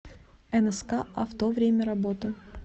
нск авто время работы